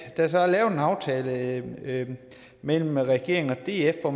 at der er lavet en aftale mellem regeringen og df hvor